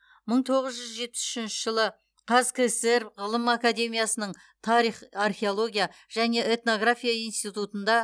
мың тоғыз жүз жетпіс үшінші жылы қазкср ғылым академиясының тарих археология және этнография институтында